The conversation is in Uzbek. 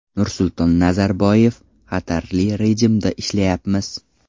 Nursulton Nazarboyev: Xatarli rejimda ishlayapmiz.